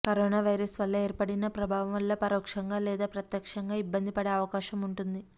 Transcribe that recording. corona virus వల్ల ఏర్పడిన ప్రభావం వల్ల పరోక్షంగా లేదా ప్రత్యక్షంగా ఇబ్బంది పడే అవకాశముంటుంది